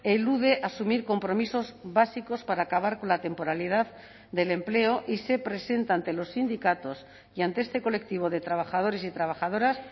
elude asumir compromisos básicos para acabar con la temporalidad del empleo y se presenta ante los sindicatos y ante este colectivo de trabajadores y trabajadoras